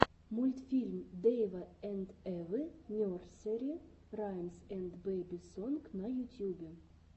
мультфильм дэйва энд эвы нерсери раймс энд бэби сонг на ютюбе